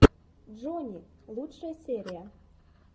джони лучшая серия